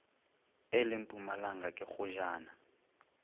e le mpumalanga ke kgojana